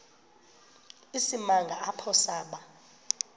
isimanga apho saba